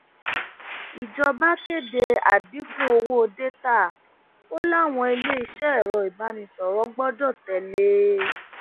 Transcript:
ìjọba kéde àdínkù owó dátà ó láwọn iléeṣẹ ẹrọ ìbánisọrọ gbọdọ tẹlé e